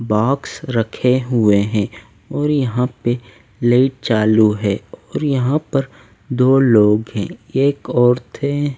box रखे हुए हैं और यहां पे ले चालू हैं और यहां पर दो लोग हैं एक औरत हैं--